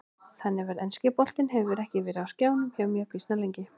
Þannig að enski boltinn hefur ekki verið á skjánum hjá mér býsna lengi.